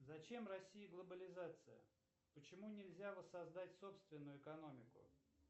зачем россии глобализация почему нельзя воссоздать собственную экономику